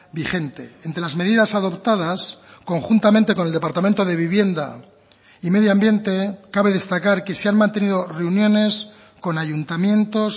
vigente entre las medidas adoptadas conjuntamente con el departamento de vivienda y medio ambiente cabe destacar que se han mantenido reuniones con ayuntamientos